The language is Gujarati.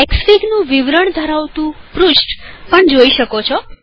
અહીં એક્સફીગનું વિવરણ ધરાવતું પૃષ્ઠ પણ જોઈ શકશો